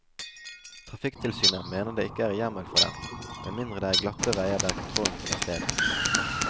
Trafikktilsynet mener det ikke er hjemmel for det, med mindre det er glatte veier der kontrollen finner sted.